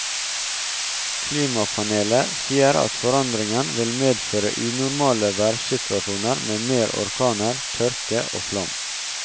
Klimapanelet sier at forandringen vil medføre unormale værsituasjoner med mer orkaner, tørke og flom.